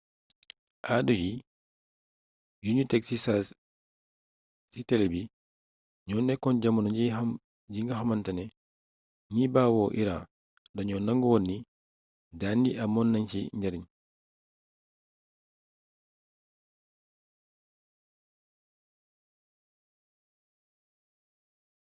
addu yi yuñu teg ci saasi ci tele bi ñoo nekkoon jamono ji nga xamantane ñi bawoo iran dañoo nangu woon ni daan yi amoon nañ ci njariñ